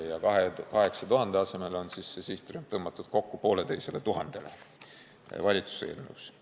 Ja seetõttu on sihtrühm tõmmatud 8000 pealt kokku poolteisele tuhandele, nii on valitsuse eelnõus.